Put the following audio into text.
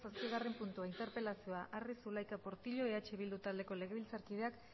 zazpigarren puntua interpelazioa arri zulaika portillo eh bildu taldeko legebiltzarkideak